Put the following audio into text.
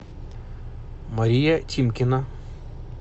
мария тимкина